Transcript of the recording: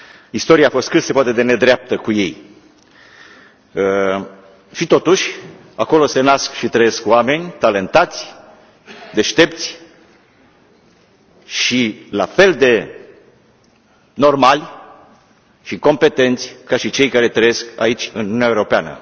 Istoria a fost cât se poate de nedreaptă cu ei, și totuși acolo se nasc și trăiesc oameni talentați, deștepți și la fel de normali și competenți ca și cei care trăiesc aici, în Uniunea Europeană.